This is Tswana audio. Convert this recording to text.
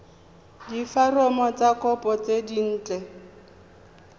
diforomo tsa kopo tse dint